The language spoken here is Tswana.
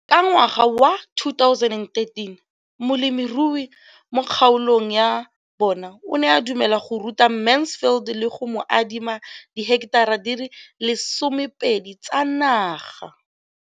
Ka ngwaga wa 2013, molemirui mo kgaolong ya bona o ne a dumela go ruta Mansfield le go mo adima di heketara di le 12 tsa naga.